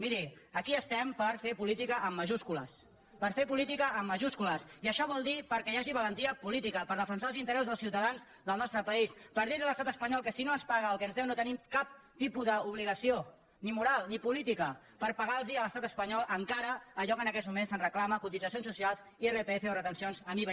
miri aquí estem per fer política amb majúscules per fer política amb majúscules i això vol dir perquè hi hagi valentia política per defensar els interessos dels ciutadans del nostre país per dir a l’estat espanyol que si no ens paga el que ens deu no tenim cap tipus d’obligació ni moral ni política per pagar a l’estat espanyol encara allò que en aquests moments se’ns reclama cotitzacions socials irpf o retencions amb iva